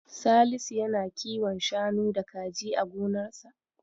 Salisu yana kiwon shanu da kaji a gonarsa.